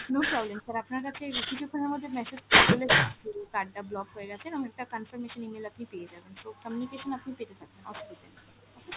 no problem sir আপনার কাছে এই কিছুক্ষণের মধ্যেই message card টা block হয়েগেছে এবং conformation email আপনি পেয়ে যাবেন so communication আপনি পেতে থাকবেন, অসুবিধা নেই okay sir।